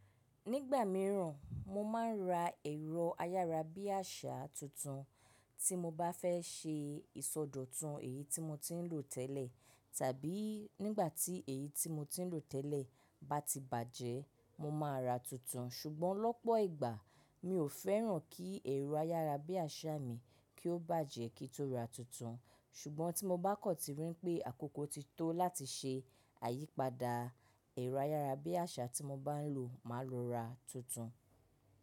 Nígbà mìíràn, mo máa ń ra ẹ̀rọ ayára bí àṣá tuntun tí mo bá fẹ́ ṣe ìsọdọ̀tun èyí tí mo ti ń lò tẹ́lẹ̀, tàbí nígbà tí èyí tí mo ti ń lò tẹ́lẹ̀ bá ti bàjẹ́, mo ma ra tuntun. Ṣùgbọ́n lọ́pọ̀ ìgbà, mi ò fẹ́ràn kí ẹ̀rọ ayára bí àṣá mi kí ó bàjẹ́ kí n tó ra tuntun. Ṣùgbọ́n tí mo bá kọ̀ tí rí pé àkókò ti tó láti ṣe àyípadà ẹ̀rọ ayára bí àṣá tí mo bá ń lò, màá lọ ra tuntun.